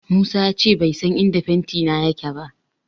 Musa ya ce bai san inda fentina yake ba.